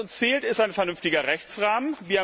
Was uns fehlt, ist ein vernünftiger Rechtsrahmen.